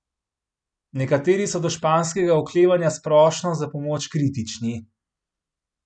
Nekateri so do španskega oklevanja s prošnjo za pomoč kritični.